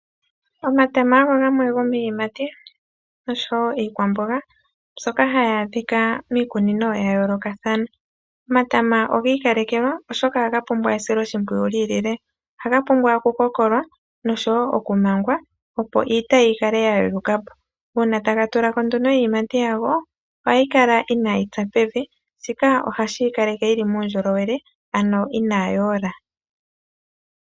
Omatama ogo gamwe go miiyimati oshowo iikwaamboga mbyoka hayi adhika miikunino ya yoolokathana. Omatama ogi ikalekelwa, oshoka ohaga pumbwa esiloshimpwiyu lyi ilile. Ohaga pumbwa okukokolwa noshowo okumangwa, opo iitayi yikale ya yeluka po. Uuna taga tula ko nduno iiyimati yago ohayi kala inayi tsa pevi ,shika ohashi yi kaleke yi li muundjolowele, ano inayi ola.